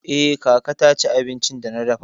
Eh, kaka ta ci abincin da na dafa.